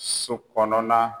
So kɔnɔna